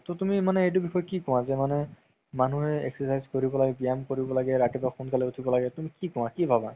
তৌ তুমি মানে এইটো বিষয়ে কি কুৱা যে মানে মানুহে exercise কৰিব লাগে ব্যায়াম কৰিব লাগে ৰাতিপুৱা সোনকালে উথিব লাগে তুমি কি কুৱা কি ভাবা